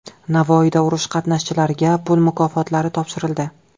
Navoiyda urush qatnashchilariga pul mukofotlari topshirildi.